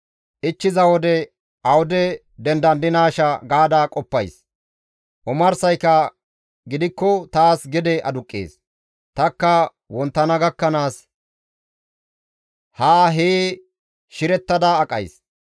Ichchiza wode awude dendandinaasha gaada qoppays; omarsayka gidikko taas gede aduqqees; tanikka wonttana gakkanaas haa hee shirettashe aqays.